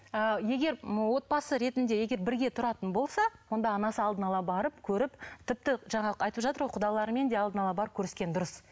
ы егер отбасы ретінде егер бірге тұратын болса онда анасы алдын ала барып көріп тіпті жаңағы айтып жатыр ғой құдаларымен де алдын ала барып көріскені дұрыс